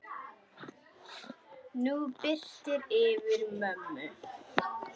Nú birtir yfir mömmu.